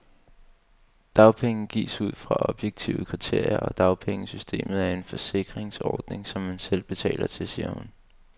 Dagpenge gives ud fra objektive kriterier, og dagpengesystemet er en forsikringsordning, som man selv betaler til, siger hun.